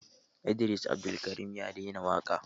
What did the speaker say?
Idris Abdulkarim ya daina waƙa.